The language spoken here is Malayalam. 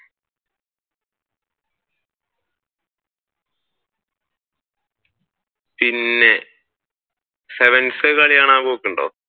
പിന്നെ sevens കളി കാണാൻ പോക്കുണ്ടോ?